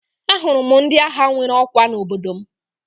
Ahụrụ m ndị agha nwere ọkwa n'obodo m